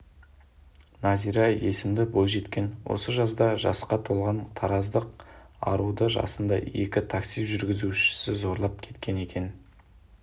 назира есімді бойжеткен осы жазда жасқа толған тараздық аруды жасында екі такси жүргізушісі зорлап кеткен екен